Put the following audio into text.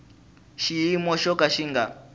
xiyimo xo ka xi nga